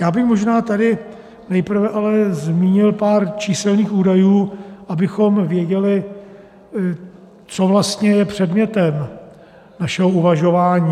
Já bych možná tady nejprve ale zmínil pár číselných údajů, abychom věděli, co vlastně je předmětem našeho uvažování.